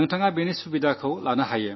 നിങ്ങൾ അതിൽ നിന്ന് നേട്ടമുണ്ടാക്കുക